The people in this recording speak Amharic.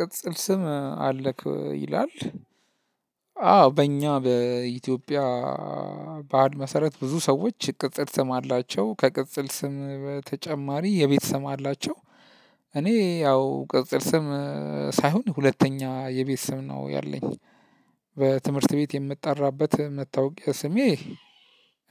ቅጽል ስም አለክ ይላል። አዎ በእኛ በኢትዮጵያ ባህል መሰረት ብዙ ሰዎች ቅጽል ስም አላቸው ከቅጽል ስም በተጨማሪ የቤት ስም አላቸው። እኔ ያው ቅጽል ስም ሳይሆን ሁለተኛ የቤት ስም ነው ያለኝ። በትምህርት ቤት የምጠራበት መታወቂያ ስሜ።